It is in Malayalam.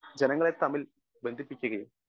സ്പീക്കർ 1 ജനങ്ങളെ തമ്മിൽ ബന്ധിപ്പിക്കുകയും